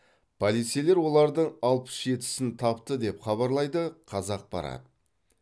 полицейлер олардың алпыс жетісін тапты деп хабарлайды қазақпарат